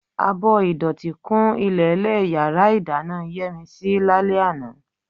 Abọ́ ìdọ̀tí kún ilẹ̀ẹ́lẹ̀ yàrá ìdáná Yẹ́misí lálẹ́ àná.